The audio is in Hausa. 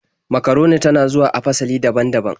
Makaroni ta na zuwa a fasali daban-daban.